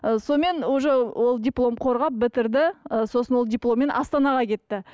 сонымен уже ол диплом қорғап бітірді ы сосын ол дипломмен астанаға кетті